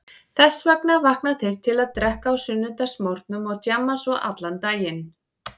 Þess vegna vakna þeir til að drekka á sunnudagsmorgnum og djamma svo allan daginn.